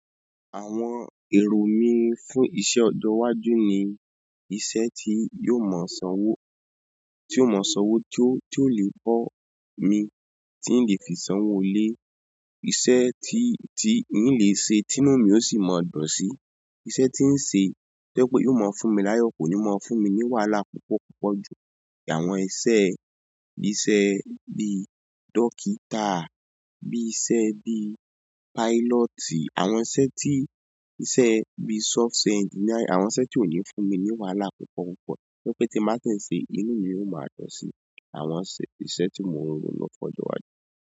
Àwọn èrò mí fún iṣẹ́ ọjọ iwájú ni iṣẹ́ tí yóò mọ ṣánwó, tí yóò mọ ṣánwó tí ó lè bọ mi, tí n lè fi ṣánwó ilé, iṣẹ́ tí, tí n lè se tí inú mi ó sì mọ dùn sí, iṣẹ́ tí ń se tojẹ pé yóò mọ fún mi láyọ̀ kò ní mọ fún mi ní wàhálà púpọ̀ púpọ̀ ju àwọn iṣẹ́ bí iṣẹ́ bí dókítà, bí iṣẹ́ bí pílọ́tì, àwọn iṣẹ́ tí, iṣẹ́ bí software engineer àwọn iṣẹ́ tí ò ní fún mi ní wàhálà púpọ̀ púpọ̀ wípé tí ń má tí ń se inú mi yóò má dùn sí àwọn iṣẹ́ tí mo ń ro ni ọjọ́ iwájú.